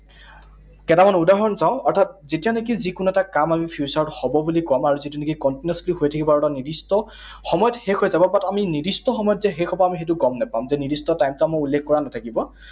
কেইটামান উদাহৰণ চাওঁ, অৰ্থাৎ যেতিয়া নেকি যিকোনো এটা কাম আমি future ত হব বুলি কম, আৰু যিটো নেকি continuously হৈ থাকিব আৰু এটা নিৰ্দিষ্ট সময়ত শেষ হৈ যাব। But আমি নিৰ্দিষ্ট সময়ত যে শেষ হব আমি সেইটো গম নাপাম। যে নিৰ্দিষ্ট time টো আমাৰ উল্লেখ কৰা নাথাকিব।